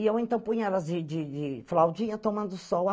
E eu então punha elas de de de flaudinha tomando sol.